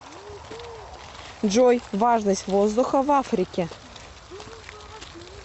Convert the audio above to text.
джой важность воздуха в африке